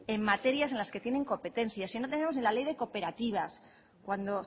en materias en la que tienen competencia si no tenemos la ley de cooperativas cuando